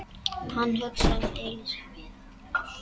Hann hugsaði um Elísu.